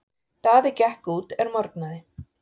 Daði gekk út er morgnaði.